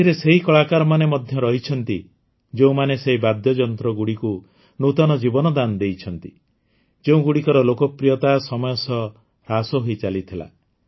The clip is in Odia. ଏଥିରେ ସେହି କଳାକାରମାନେ ମଧ୍ୟ ରହିଛନ୍ତି ଯେଉଁମାନେ ସେହି ବାଦ୍ୟଯନ୍ତ୍ରଗୁଡ଼ିକୁ ନୂତନ ଜୀବନଦାନ ଦେଇଛନ୍ତି ଯେଉଁଗୁଡ଼ିକର ଲୋକପ୍ରିୟତା ସମୟ ସହ ହ୍ରାସ ହୋଇଚାଲିଥିଲା